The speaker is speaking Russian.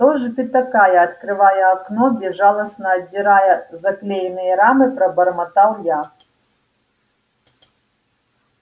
кто же ты такая открывая окно безжалостно отдирая заклеенные рамы пробормотал я